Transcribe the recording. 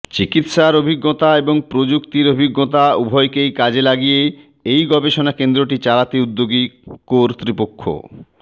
চিকিৎসার অভিজ্ঞতা এবং প্রযুক্তির অভিজ্ঞতা উভয়কেই কাজে লাগিয়ে এই গবেষণা কেন্দ্রটি চালাতে উদ্যোগী কর্তৃপক্ষ